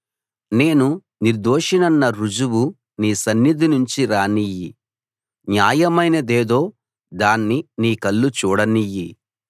నేను నిర్దోషినన్న రుజువు నీ సన్నిధినుంచి రానియ్యి న్యాయమైనదేదో దాన్ని నీ కళ్ళు చూడనియ్యి